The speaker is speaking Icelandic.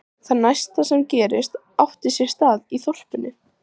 Það næsta sem gerðist átti sér stað í þorpinu.